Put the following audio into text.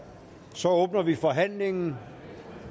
så åbner vi forhandlingen